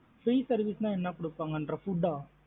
Free service நா என்ன குடுப்பாங்க ரா food ஆ?